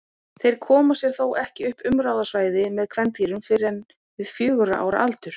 Þeir koma sér þó ekki upp umráðasvæði með kvendýrum fyrr en við fjögurra ára aldur.